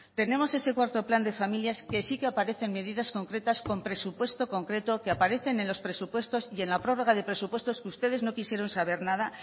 tenemos ese cuarto plan de familias que sí que aparecen medidas concretas con presupuesto concreto que aparecen en los presupuestos y en la prórroga de presupuestos que ustedes no quisieron saber nada